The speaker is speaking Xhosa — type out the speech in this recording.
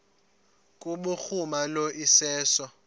kubhuruma lo iseso